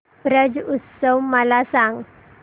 ब्रज उत्सव मला सांग